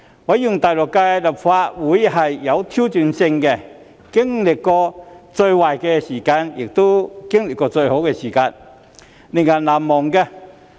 我認為第六屆立法會是有挑戰性的，經歷過最壞的時間，亦經歷過最好的時間，令人難忘。